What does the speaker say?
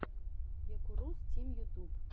якурус тим ютюб